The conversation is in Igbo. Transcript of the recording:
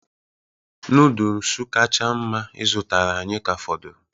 Noodolus kacha mma ị zụtara anyị ka fọdụrụ